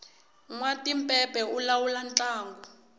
nwatimpepe u lawula ntlangu